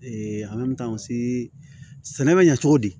sɛnɛ bɛ ɲɛ cogo di